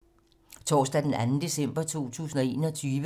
Torsdag d. 2. december 2021